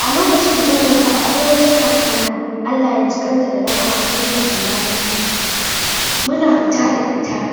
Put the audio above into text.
Alokacin bazan manta ba akwai wata kaka na Allah ya jikanta da rahama sunanta salamatu muna fita da ita